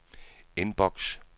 inbox